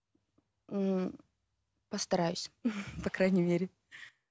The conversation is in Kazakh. ммм постараюсь по крайней мере